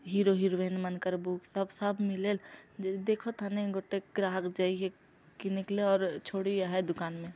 hero heroine मानकर book सब-सब मिलेले देखो थने गोटे ग्राहक जाके के निकले और छोड़ी आहें दुकान में --